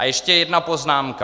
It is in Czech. A ještě jedna poznámka.